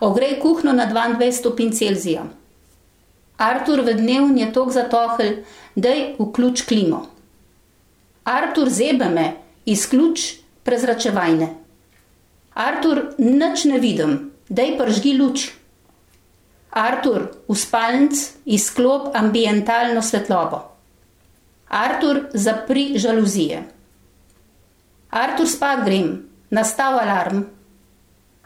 Ogrej kuhinjo na dvaindvajset stopinj Celzija. Artur, v dnevni je toliko zatohlo, daj vključi klimo. Artur, zebe me. Izključi prezračevanje. Artur, nič ne vidim, daj prižgi luč. Artur, v spalnici izklopi ambientalno svetlobo. Artur, zapri žaluzije. Artur, spat grem. Nastavi alarm.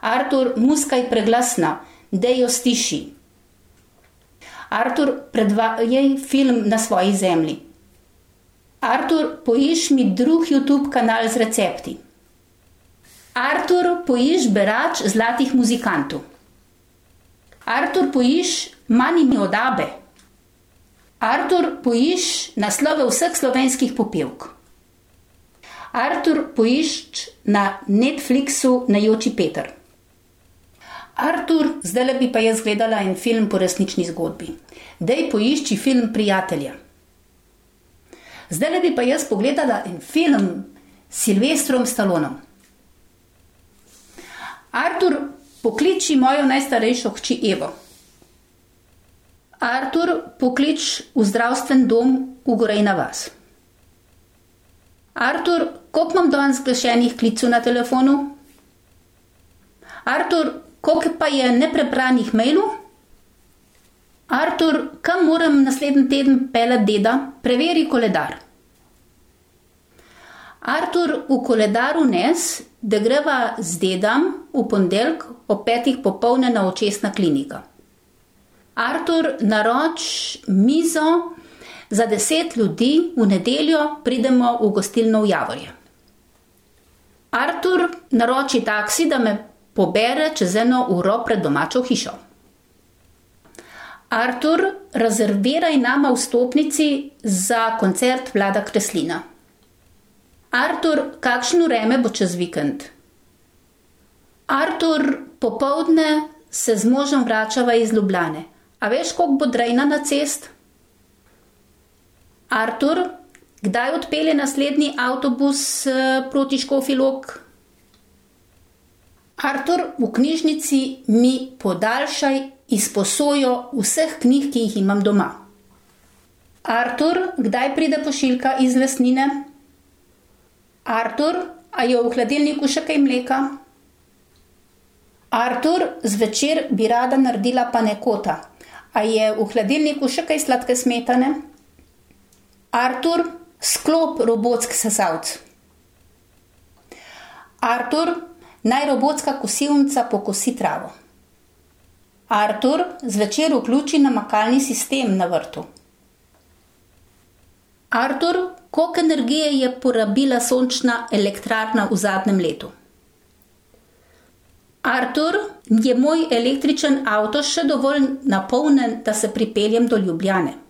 Artur, muzika je preglasna, daj jo stišaj. Artur, predvajaj film Na svoji zemlji. Artur, poišči mi drugi Youtube kanal z recepti. Artur, poišči Berač Zlatih muzikantov. Artur, poišči Money od Abbe. Artur, poišči naslove vseh slovenskih popevk. Artur, poišči na Netflixu Ne joči, Peter. Artur, zdajle bi pa jaz gledala en film po resnični zgodbi. Daj poišči film Prijatelja. Zdajle bi pa jaz pogledala en film s Sylvestrom Stallonom. Artur, pokliči mojo najstarejšo hči Evo. Artur, pokliči v zdravstveni dom v Gorenja vas. Artur, koliko imam danes zgrešenih klicev na telefonu? Artur, koliko pa je neprebranih mailov? Artur, kam moram naslednji teden peljati deda? Preveri koledar. Artur, v koledar vnesi, da greva z dedom v ponedeljek ob petih popoldne na očesna klinika. Artur, naroči mizo za deset ljudi, v nedeljo pridemo v gostilno v Javorje. Artur, naroči taksi, da me pobere čez eno uro pred domačo hišo. Artur, rezerviraj nama vstopnici za koncert Vlada Kreslina. Artur, kakšno vreme bo čez vikend? Artur, popoldne se z možem vračava iz Ljubljane. A veš, koliko bo drenja na cesti? Artur, kdaj odpelje naslednji avtobus, proti Škofji Lok? Artur, v knjižnici mi podaljšaj izposojo vseh knjig, ki jih imam doma. Artur, kdaj pride pošiljka iz Lesnine? Artur, a je v hladilniku še kaj mleka? Artur, zvečer bi rada naredila panakoto. A je v hladilniku še kaj sladke smetane? Artur, izklopi robotski sesalec. Artur, naj robotska kosilnica pokosi travo. Artur, zvečer vključi namakalni sistem na vrtu. Artur, koliko energije je porabila sončna elektrarna v zadnjem letu? Artur, je moj električni avto še dovolj napolnjen, da se pripeljem do Ljubljane?